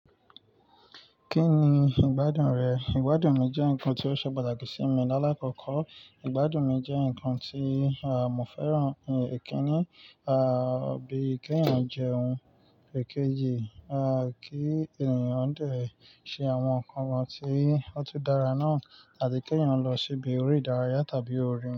Kí ni ìgbádùn rẹ̀? Ìgbádùn mi jẹ́ ǹkan tí ó ṣe pàtàkì sí mi. Láàlákọ̀kọ́, ìgbádùn mi jẹ́ ǹkan tí, mo fẹ́ràn, ẹ́kínní, bí í kẹ́yan jẹun, èkejì, kí ènìyàn dé ṣe àwọn ǹkan kan tí ó tu dára náà àti kẹ́yìn lọ síbi orí ìdárayá tàbí oòrùn.